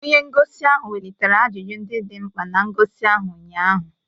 Onye ngosi ahụ welitere ajụjụ ndị dị mkpa na ngosi ahụ ụnyaahụ